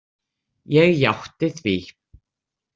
Ég játti því.